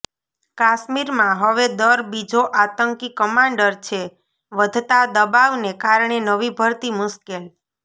કાશ્મીરમાં હવે દર બીજો આતંકી કમાન્ડર છેઃ વધતા દબાવને કારણે નવી ભરતી મુશ્કેલ